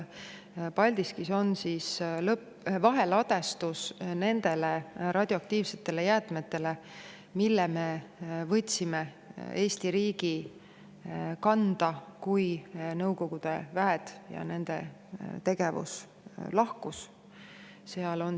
Paldiskis vaheladustatakse neid radioaktiivseid jäätmeid, mille me võtsime Eesti riigi kanda, kui Nõukogude väed siit lahkusid ja nende tegevus.